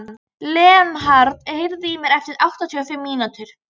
Leonhard, heyrðu í mér eftir áttatíu og fimm mínútur.